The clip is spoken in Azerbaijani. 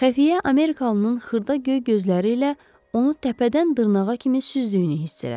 Xəfiyyə amerikalının xırda göy gözləri ilə onu təpədən dırnağa kimi süzdüyünü hiss elədi.